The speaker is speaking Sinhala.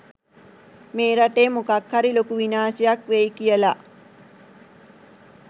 මේ රටේ මොකක්හරි ලොකු විනාශයක් වෙයි කියලා.